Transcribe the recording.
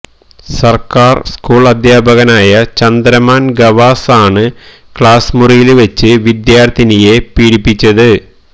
സര്ക്കാര് സ്കൂള് അധ്യാപകനായ ചന്ദ്രമാന് ഖവാസ് ആണ് ക്ലാസ് മുറിയില് വെച്ച് വിദ്യാര്ത്ഥിനിയെ പീഡിപ്പിച്ചത്